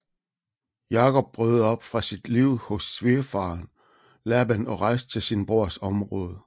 Jakob brød op fra sit liv hos svigerfaren Laban og rejste til sin brors område